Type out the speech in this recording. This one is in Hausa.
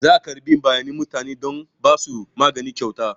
Za a karɓi bayanan mutane don ba su magani kyauta.